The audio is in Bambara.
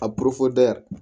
A